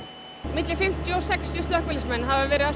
milli fimmtíu og sextíu slökkviliðsmenn hafa verið